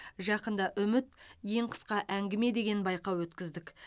жақында үміт ең қысқа әңгіме деген байқау өткіздік